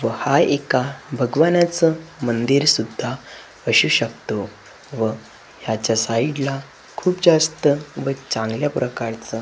व हा एका भगवानचं मंदिर सुद्धा असू शकतो व याच्या साईडला खूप जास्त व चांगल्या प्रकारचा --